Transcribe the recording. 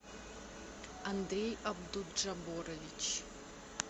андрей абдуджаборович